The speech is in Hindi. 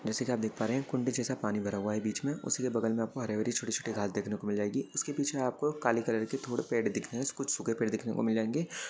जैसे की आप देख पा रहे है कुंडे जैसा पानी भरा हुआ है बीच मे उसके बगल मे आपको हरी-हरी छोटी-छोटी घास देखने को मिल जाएगी उसके पीछे आपको काले कलर के थोड़े पेड़ देखनेकुछ सूखे पेड़ देखने को मिल जाएंगे।